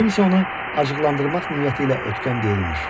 Kim isə onu acıqlandırmaq niyyəti ilə ötkəm deyirmiş.